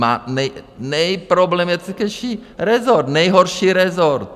Má nejproblematičtější rezort, nejhorší rezort.